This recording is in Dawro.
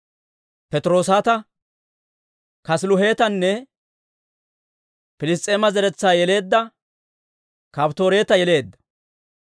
Patiroosata, Kaasiluhetanne Piliss's'eema zeretsaa yeleedda Kafttooreta yeleedda.